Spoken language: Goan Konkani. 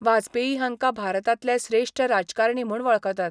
वाजपेयी हांकां भारतांतले श्रेश्ठ राजकारणी म्हूण वळखतात.